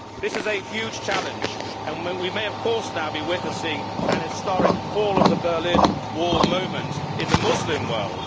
This is a huge challenge and of course we may now be witnessing an historic fall of the Berlin Wall moment' in the Muslim world.